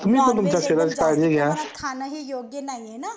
जास्त खाण हे योग नाही हे ना